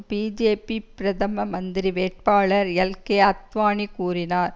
BJP பிரதம மந்திரி வேட்பாளர் எல்கே அத்வானி கூறினார்